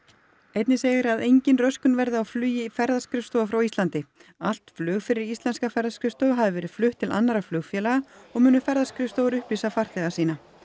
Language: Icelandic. einnig segir að engin röskun verður á flugi ferðaskrifstofa frá Íslandi allt flug fyrir íslenskar ferðaskrifstofur hafi verið flutt til annarra flugfélaga og munu ferðaskrifstofur upplýsa farþega sína